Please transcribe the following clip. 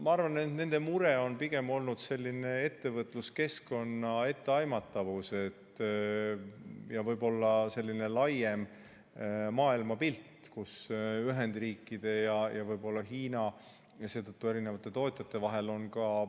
Ma arvan, et nende mure on pigem olnud selline ettevõtluskeskkonna etteaimatavus ja selline laiem maailmapilt, kus on võib‑olla Ühendriikide ja Hiina vahel ning seetõttu ka eri tootjate vahel vastuolu.